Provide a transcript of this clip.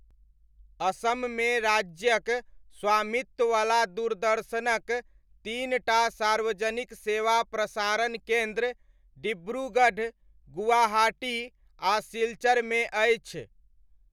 असममे राज्यक स्वामित्ववला दूरदर्शनक तीन टा सार्वजनिक सेवा प्रसारण केन्द्र डिब्रूगढ़, गुवाहाटी आ सिलचरमे अछि।